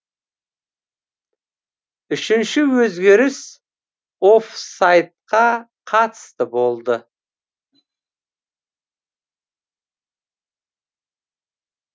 үшінші өзгеріс оффсайдқа қатысты болды